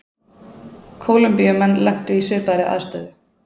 Kólumbíumenn lentu í svipaðri aðstöðu.